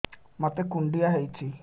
ମୋତେ କୁଣ୍ଡିଆ ହେଇଚି